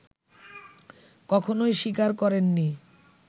কখনোই স্বীকার করেননি